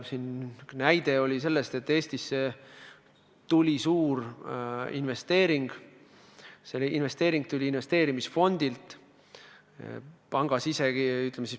Siin oli üks näide sellest, kuidas Eestisse tehti suur investeering, see investeering tuli investeerimisfondilt.